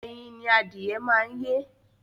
Ẹyin ni adìyẹ máa ń yé.